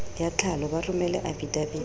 ya tlhalo ba romele afidaviti